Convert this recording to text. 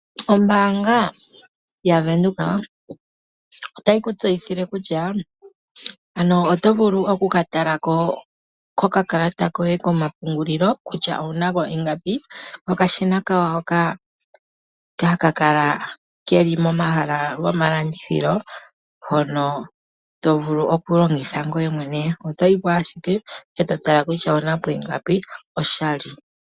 Ombaanga yaVenduka otayi kutseyithile kutya ano otovulu okukatalako ko kakalata koye komapungulilo kutya owunako ingapi nokadhina kawo haka kala keli momahala gomalandithilo hono tovulu okulongitha ngoye mwene otoyi po ashike eto tala kutya owunako ingapi oshali.